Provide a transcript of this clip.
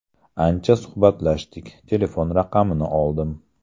Ancha suhbatlashdik, telefon raqamini oldim.